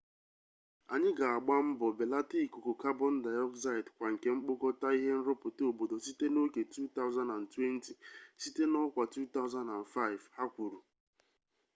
anyị ga-agba mbọ belata ikuku kabon dioxide kwa nke mkpokọta ihe nrụpụta obodo site na oke 2020 site n'ọkwa 2005 hu kwuru